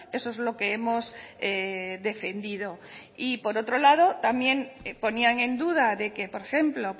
eso es lo que hemos defendido y por otro lado también ponían en duda de que por ejemplo